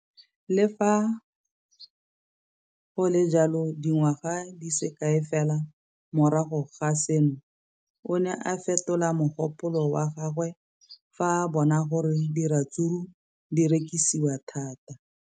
Le fa go le jalo, dingwaga di se kae fela morago ga seno, o ne a fetola mogopolo wa gagwe fa a bona gore diratsuru di rekisiwa thata.